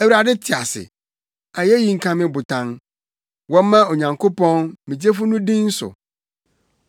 Awurade te ase! Ayeyi nka me Botan! Wɔmma Onyankopɔn, me Gyefo no din so!